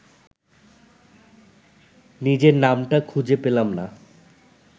নিজের নামটা খুঁজে পেলাম না